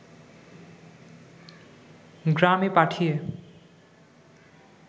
গ্রামে পাঠিয়ে